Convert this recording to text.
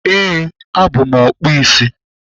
Ee, abụ m ọkpụ isi.